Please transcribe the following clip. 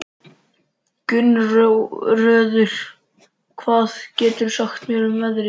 Gunnröður, hvað geturðu sagt mér um veðrið?